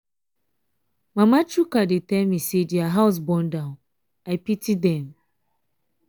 mama chuka dey tell me say their house burn down. i pity dem.